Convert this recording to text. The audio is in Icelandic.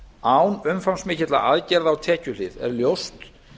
án umfangsmikilla aðgerða á tekjuhlið er ljóst